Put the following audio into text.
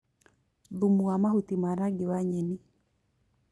Thumu wa mahuti ma rangi wa nyeni